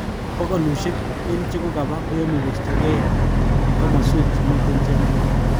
Bokolushek eng chekokaba koyome kostoge eng komoswek chemiten chemarget